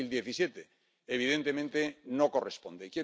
2017. Evidentemente, no corresponde.